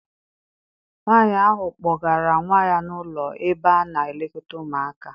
Nwaanyi ahụ kpọgara nwa ya n'ụlọ ebe a na- elekọta ụmụaka.